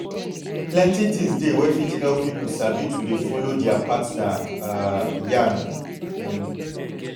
plenty thins dey wey fit help pipu sabi to dey follow dea partner um yan um